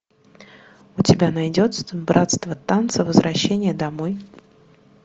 у тебя найдется братство танца возвращение домой